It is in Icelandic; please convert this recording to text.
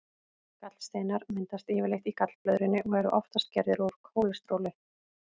Gallsteinar myndast yfirleitt í gallblöðrunni og eru oftast gerðir úr kólesteróli.